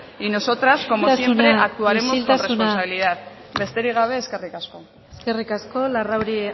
y nosotras como siempre actuaremos con responsabilidad besterik gabe eskerrik asko eskerrik asko larrauri